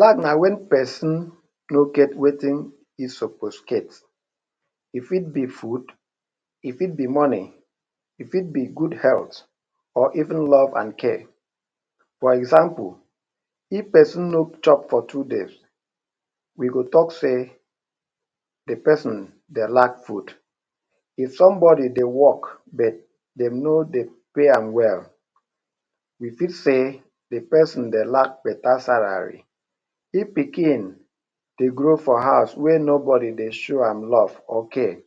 Lack na wen peson no get wetin e suppose get. E fit be food, e fit be money, e fit be good health, or even love an care. For example, if peson no chop for two days, we go talk sey the peson dey lack food. If somebody dey work but dem no dey pay am well, we fit say the peson dey lack beta salary. If pikin dey grow for house wey nobody dey show am love or care,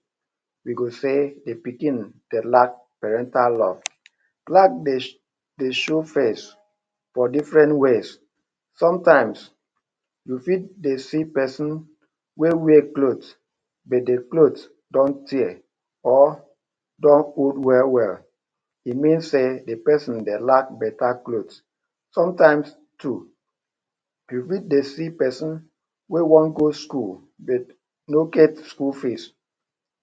we go say the pikin dey lack parental love. Lack dey dey show face for different ways. Sometimes, you fit dey see peson wey wear cloth but the cloth don tear or don old well-well. E mean sey the peson dey lack beta cloth. Sometimes too, you fit dey see peson wey wan go school de no get school fees.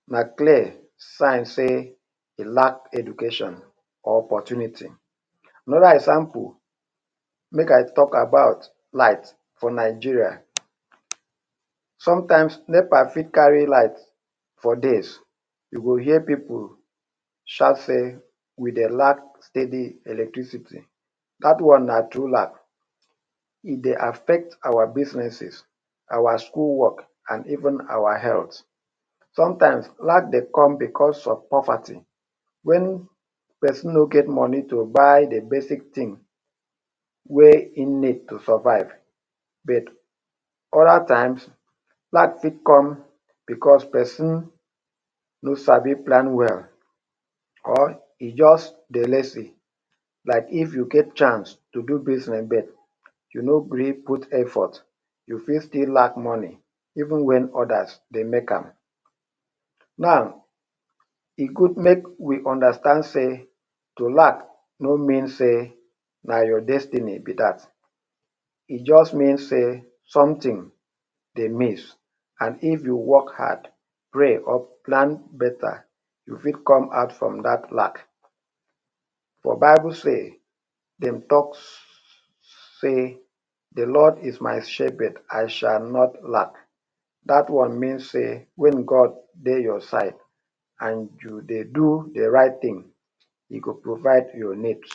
Na clear sign sey de lack education opportunity. Another example. Make I talk about light for Nigeria. Sometimes, NEPA fit carry light for days. You go hear pipu shout sey we dey lack steady electricity. Dat one na true lack. E dey affect our businesses, our school work, an even our health. Sometimes, lack dey come becos of poverty—wen peson no get money to buy the basic tin wey ein need to survive—but other times, lack fit come becos peson no sabi plan well or e juz dey lazy. Like if you get chance to do business but you no gree put effort, you fit still lack money even wen others dey make am. Now, e good make we understand sey to lack no mean sey na your destiny be dat. E juz mean sey something dey miss, an if you work hard, pray or plan beta, you fit come out from dat lack. For Bible say dem talk sey the Lord is my shepherd, I shall not lack. Dat one mean sey wen God dey your side an you dey do the right tin, e go provide your needs.